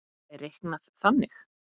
er reiknað þannig